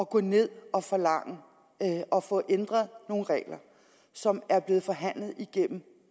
gå ned og forlange at få ændret nogle regler som er blevet forhandlet igennem